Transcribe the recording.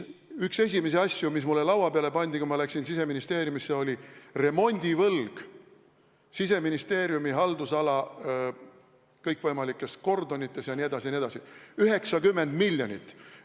Üks esimesi asju, mis mulle laua peale pandi, kui ma Siseministeeriumisse läksin, oli remondivõlg Siseministeeriumi haldusala kõikvõimalikes kordonites jne, jne – 90 miljonit.